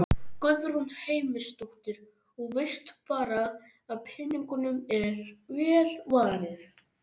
Guðrún Heimisdóttir: Og veist bara að peningunum er vel varið?